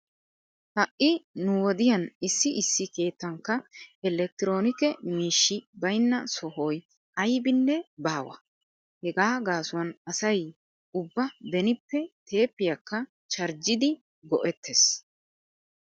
Ha"i nu wodiyan issi issi keettankka elekitiroonike miishshi baynna sohoy aybinne baawa. Hegaa gaasuwan asay ubba benippe teeppiyakka charjjidi go'ettees.